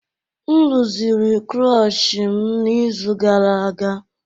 M rụziri klochi m n'izu gara aga